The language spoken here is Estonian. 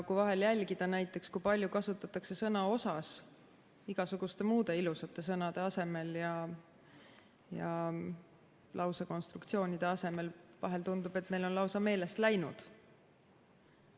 Kui vahel jälgida näiteks, kui palju kasutatakse sõna "osas" igasuguste muude ilusate sõnade ja lausekonstruktsioonide asemel, siis tundub, et meil on need lausa meelest läinud.